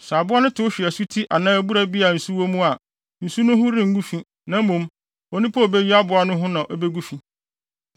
Sɛ aboa no tew hwe asuti anaa abura bi a nsu wɔ mu a, nsu no ho rengu fi, na mmom, onipa a obeyi aboa no ho na ebegu fi.